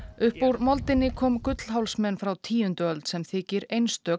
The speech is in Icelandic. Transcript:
upp úr moldinni kom frá tíundu öld sem þykir einstök